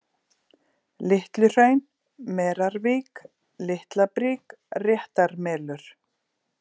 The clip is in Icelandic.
Litluhraun, Merarvík, Litlabrík, Réttarmelur